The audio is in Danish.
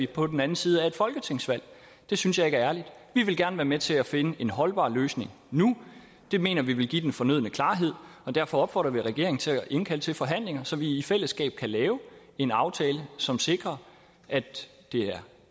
på den anden side af et folketingsvalg det synes jeg ikke er ærligt vi vil gerne være med til at finde en holdbar løsning nu det mener vi ville give den fornødne klarhed og derfor opfordrer vi regeringen til at indkalde til forhandlinger så vi i fællesskab kan lave en aftale som sikrer at det er